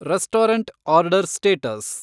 restaurant order status